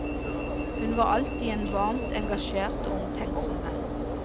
Hun var alltid en varmt engasjert og omtenksom venn.